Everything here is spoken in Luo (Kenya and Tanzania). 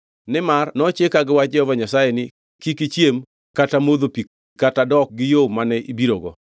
Nimar nochika gi wach Jehova Nyasaye ni, ‘Kik ichiem kata modho pi kata dok gi yo mane ibirogo.’ ”